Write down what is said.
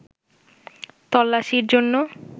তল্লাশির জন্য